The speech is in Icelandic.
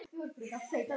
Það hefur margt breyst.